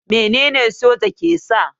Menene soja ke sa?